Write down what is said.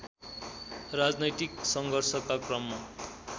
राजनैतिक सङ्घर्षका क्रममा